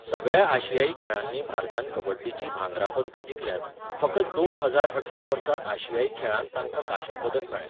सगळ्या आशियाई खेळांनी भारतान कबड्डीचीं भांगरा पदकां जिखल्यांत, फकत दोन हजार अठरा वर्सा आशियाई खेळांत तांकां कांश्या पदक मेळ्ळें.